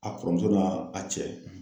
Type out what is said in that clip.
A kɔrɔmuso na a cɛ